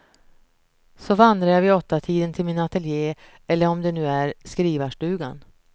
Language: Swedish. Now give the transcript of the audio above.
Så vandrar jag vid åttatiden till min atelje eller om det nu är skrivarstugan.